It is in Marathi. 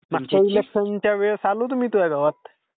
मागच्या इलेक्शनच्या वेळेस आलो होतो मी तुह्या गावात.